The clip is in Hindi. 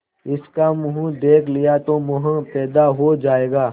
इसका मुंह देख लिया तो मोह पैदा हो जाएगा